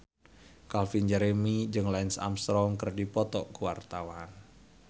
Calvin Jeremy jeung Lance Armstrong keur dipoto ku wartawan